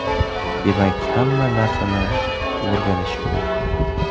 demak hamma narsani o‘rganish mumkin.